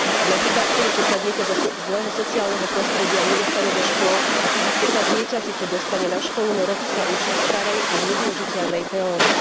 Napríklad, keď sa dieťa zo zlého sociálneho prostredia nedostane do škôlky, keď sa dieťa síce dostane na školu, no roky sa učí starej a nevyužiteľnej teórii.